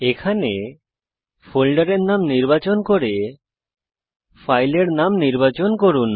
এখানে ফোল্ডারের নাম নির্বাচন করে ফাইলের নাম নির্বাচন করুন